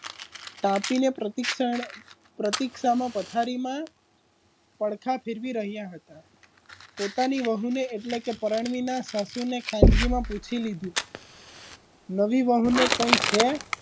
પાપીને પ્રસિકસન પ્રસિક્સને પથારીમાં પડખા ફેરવી રહ્યા હતા પોતાની વહુને એટલે કે રારણવીને સાસુને ખાનગીમાં પૂછી લીધુ નવી વહુને કઇ છે?